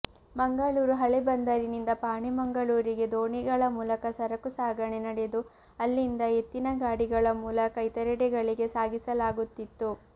ಮಂಗಳೂರು ಹಳೆ ಬಂದರಿನಿಂದ ಪಾಣೆಮಂಗಳೂರಿಗೆ ದೋಣಿಗಳ ಮೂಲಕ ಸರಕು ಸಾಗಣೆ ನಡೆದು ಅಲ್ಲಿಂದ ಎತ್ತಿನ ಗಾಡಿಗಳ ಮೂಲಕ ಇತರೆಡೆಗಳಿಗೆ ಸಾಗಿಸಲಾಗುತ್ತಿತ್ತು